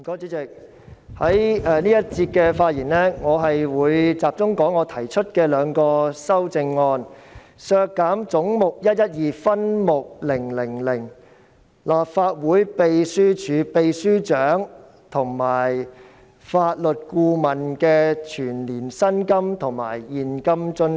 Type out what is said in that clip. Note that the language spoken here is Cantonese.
主席，我在這個環節的發言會集中講述我提出的兩項修正案，即削減總目 112， 分目 000， 立法會秘書處秘書長及法律顧問的全年薪金及現金津貼。